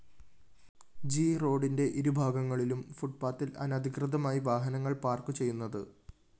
G റോഡിന്റെ ഇരുഭാഗങ്ങളിലും ഫുട്പാത്തില്‍ അനധികൃതമായി വാഹനങ്ങള്‍ പാര്‍ക്കുചെയ്യുന്നത്